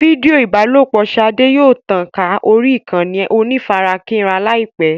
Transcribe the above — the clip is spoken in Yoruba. Fídíò ìbálòpọ̀ Ṣadé yóò tàn ká orí ìkànnì onífarakínra láìpẹ́.